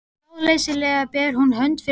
Ráðleysislega ber hún hönd fyrir augu.